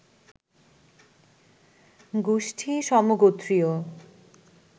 গোষ্ঠী সমগোত্রীয়